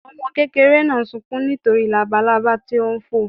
Ọmọ kékeré náà sunkún nítorí labalaba tí ó ń fò.